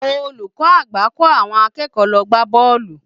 Olùkọ́ àgbà kò àwọn akẹ́kọ̀ọ́ lọ gbá bọ́ọ̀lù